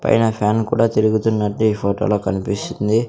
పైన ఫ్యాన్ కూడా తిరుగున్నట్టు ఈ ఫోటో లో కన్పిస్తుంది.